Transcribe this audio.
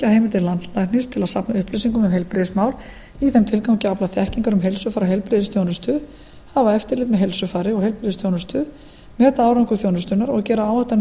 að safna upplýsingum um heilbrigðismál í þeim tilgangi að afla þekkingar um heilsufar og heilbrigðisþjónustu hafa eftirlit með heilsufari og heilbrigðisþjónustu meta árangur þjónustunnar og gera áætlanir